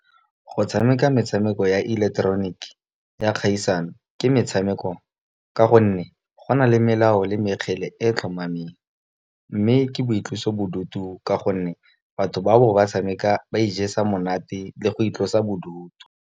Go tshameka metshameko ya ileketeroniki ya kgaisano ke metshameko. Ka gonne go na le melao le mekgele e tlhomameng, mme ke boitlosobodutu ka gonne batho ba bo ba tshameka ba ijesa monate, le go itlosa bodutu.